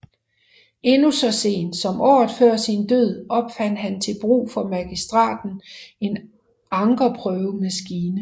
Endnu så sent som året før sin død opfandt han til brug for Magistraten en ankerprøvemaskine